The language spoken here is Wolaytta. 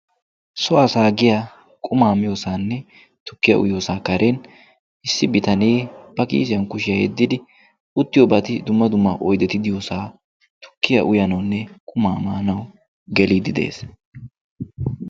so asaa giya qumaa miyoosaanne tukkiya uyyoosaa karen issi bitanee pakiisiyan kushiyaa yeddidi uttiyo baati duma duma oidetidiyoosaa tukkiya uyaanawunne qumaa maanawu geliiddi de'ees.